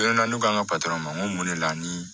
Donna ne ko k'an ka ma n ko mun ne la ni